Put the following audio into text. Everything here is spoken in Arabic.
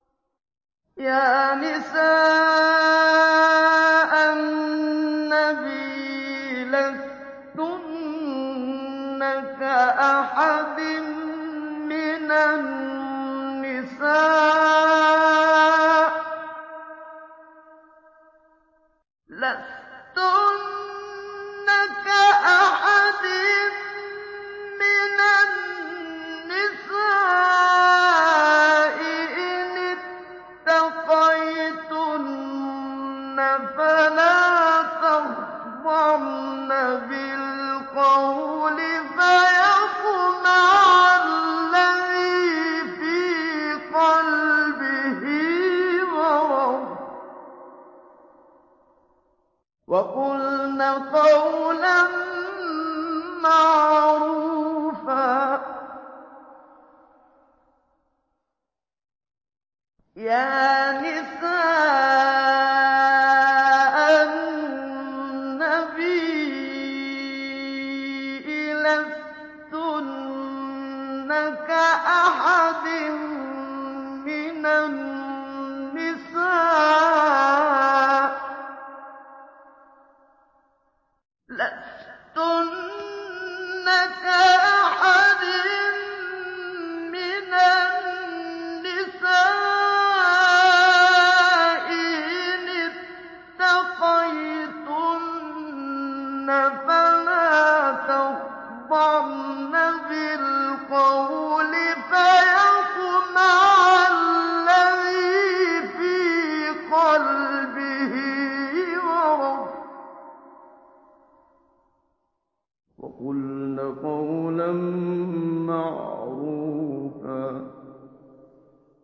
يَا نِسَاءَ النَّبِيِّ لَسْتُنَّ كَأَحَدٍ مِّنَ النِّسَاءِ ۚ إِنِ اتَّقَيْتُنَّ فَلَا تَخْضَعْنَ بِالْقَوْلِ فَيَطْمَعَ الَّذِي فِي قَلْبِهِ مَرَضٌ وَقُلْنَ قَوْلًا مَّعْرُوفًا